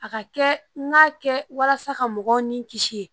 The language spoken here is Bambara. A ka kɛ n ka kɛ walasa ka mɔgɔw ni kisi